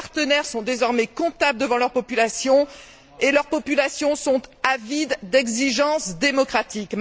Nos partenaires sont désormais comptables devant leur population, et leur population est avide d'exigences démocratiques.